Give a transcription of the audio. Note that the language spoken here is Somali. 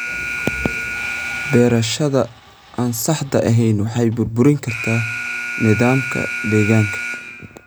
Beerashada aan saxda ahayn waxay burburin kartaa nidaamka deegaanka.